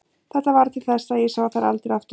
Þetta varð til þess að ég sá þær aldrei aftur.